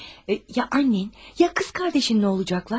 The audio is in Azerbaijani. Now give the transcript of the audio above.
Ya anan, ya bacın nə olacaqlar?